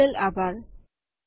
જોડવા બદલ આભાર